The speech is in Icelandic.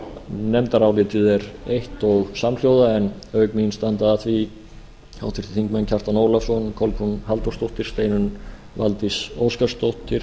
nefndarálitið er eitt og samhljóða en auk mín standa að því háttvirtur þingmaður kjartan ólafsson kolbrún halldórsdóttir steinunn valdís óskarsdóttir